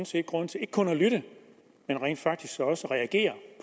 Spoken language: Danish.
set grund til ikke kun at lytte men rent faktisk også at reagere